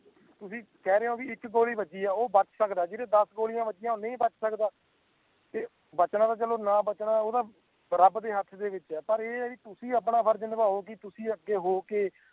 ਤੁਸੀ ਕਹਿ ਰਹੀਏ ਹੋ ਕਿ ਇੱਕ ਗੋਲੀ ਵੱਜੀ ਓਹ ਬਾਚ ਸਕਦਾ ਜਿੰਦੇ ਦੱਸ ਗੋਲੀ ਵੱਜਿਆ ਹੋਣ ਓ ਨਹੀਂ ਬਾਚ ਸਕਦਾ ਤੇ ਬਚਣਾ ਚਲੋ ਨਾ ਬਚਣਾ ਓ ਤਾਂ ਰੱਬ ਦੇ ਹੱਥ ਵਿੱਚ ਹੈ ਪਰ ਏਹ ਹੈ ਕਿ ਤੁਸੀ ਆਪਣਾ ਫਰਜ਼ ਨਬਾਓ ਕਿ ਤੁਸੀ ਅੱਗੇ ਹੋਵੋ ਕੇ